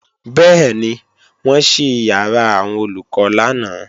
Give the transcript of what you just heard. Bẹ́ẹ̀ni, wọ́n ṣí ìyàrá àwọn Olùkọ́ lánàá